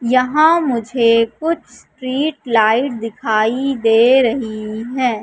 यहां मुझे कुछ स्ट्रीट लाइट दिखाई दे रही है।